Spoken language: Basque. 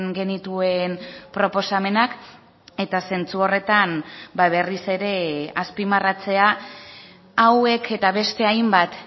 genituen proposamenak eta zentzu horretan berriz ere azpimarratzea hauek eta beste hainbat